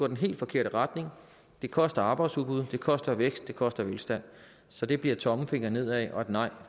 den helt forkerte retning det koster arbejdsudbud det koster vækst det koster velstand så det bliver tommelfingeren nedad og et nej